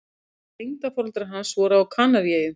Tengdaforeldrar hans voru á Kanaríeyjum.